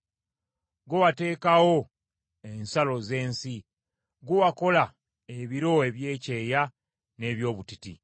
Ggwe wateekawo ensalo z’ensi; ggwe wakola ebiro eby’ekyeya n’eby’obutiti.